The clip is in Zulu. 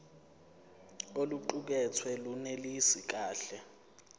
oluqukethwe lunelisi kahle